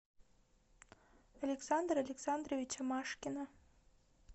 александра александровича машкина